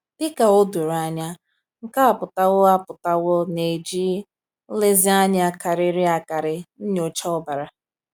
"Dị ka o doro anya, nke a apụtawo a apụtawo na e ji nlezianya karịrị akarị nyochaa ọbara."